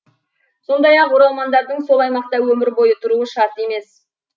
сондай ақ оралмандардың сол аймақта өмір бойы тұруы шарт емес